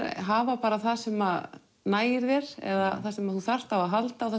hafa það sem nægir þér eða það sem þú þarft á halda og